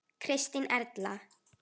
Kristín Erla.